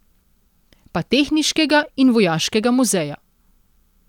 Pa tehniškega in vojaškega muzeja.